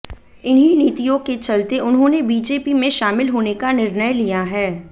इन्हीं नीतियों के चलते उन्होंने बीजेपी में शामिल होने का निर्णय लिया है